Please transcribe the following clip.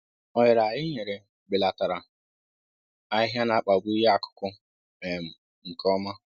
Ohere anyị nyere belatara ahịhịa na-akpagbu ihe akụkụ um nke ọma